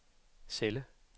celle